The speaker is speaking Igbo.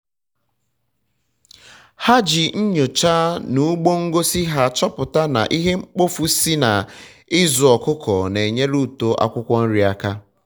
ha ji nyoocha na ugbo ngosi ha chọpụta na ihe mkpofu si na ịzụ ọkụkọ na enyere uto akwụkwọ nri aka